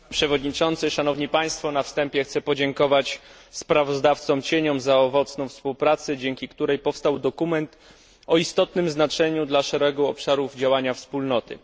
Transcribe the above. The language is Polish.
Panie Przewodniczący! Na wstępie chcę podziękować sprawozdawcom cieniom za owocną współpracę, dzięki której powstał dokument o istotnym znaczeniu dla szeregu obszarów działania Wspólnoty.